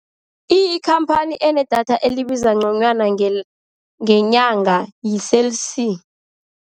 Ikhamphani enedatha elibiza ngconywana ngenyanga yi-Cell C.